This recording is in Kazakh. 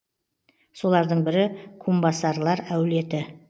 солардың бірі кумбасарлар әулеті